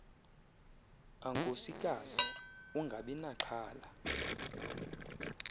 ankosikazi ungabi naxhala